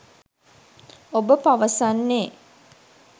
ඔබ පවසන්නේ